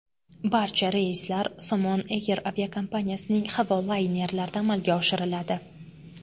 Barcha reyslar Somon Air aviakompaniyasining havo laynerlarida amalga oshiriladi.